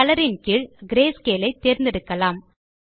colour கீழ் greyscale ஐ தேர்ந்தெடுக்கலாம்